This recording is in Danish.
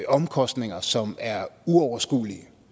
omkostninger som er uoverskuelige